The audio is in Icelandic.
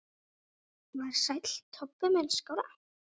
Var Sæll Tobbi minn skárra?